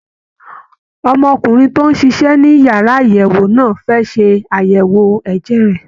Ọmọkùnrin tó ń ṣiṣẹ́ ní yàrá àyẹ̀wò náà fẹ́ ṣe àyẹ̀wò ẹ̀jẹ̀ rẹ̀